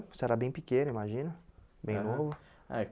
Você era bem pequeno, imagina, é bem novo. É